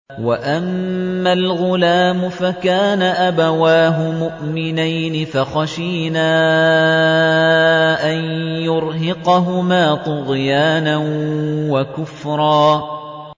وَأَمَّا الْغُلَامُ فَكَانَ أَبَوَاهُ مُؤْمِنَيْنِ فَخَشِينَا أَن يُرْهِقَهُمَا طُغْيَانًا وَكُفْرًا